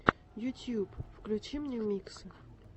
ютьюб включи мне миксы